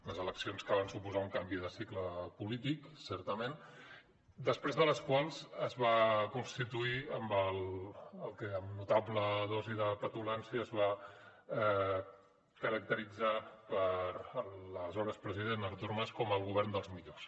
unes eleccions que van suposar un canvi de cicle polític certament després de les quals es va constituir el que amb notable dosi de petulància es va caracteritzar per l’aleshores president artur mas com el govern dels millors